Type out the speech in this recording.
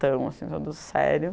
assim, todo sério.